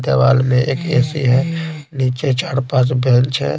दीवाल में एक ऐसी है नीचे चार पांच बेंच है।